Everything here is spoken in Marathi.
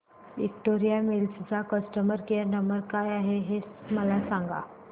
विक्टोरिया मिल्स चा कस्टमर केयर नंबर काय आहे हे मला सांगा